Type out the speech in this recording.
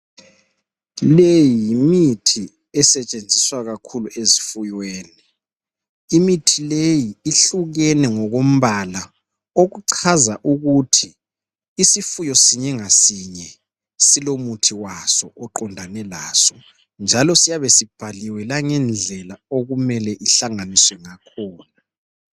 Le yimithi esetshenziswa kakhulu ezifuyweni imithi leyi ihlukene ngokombala okuchaza ukuthi isifuyo sinye ngasinye silomuthi waso oqondane laso njalo siyabe sibhaliwe langendlela okumele sihlanganisiwe ngakhona.